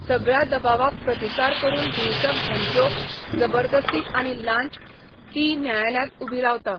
सगळ्या दबावाक प्रतिकार करून हिंसक धमक्यो, जबरदस्ती आनी लांच, ती न्यायालयांत उबी रावता.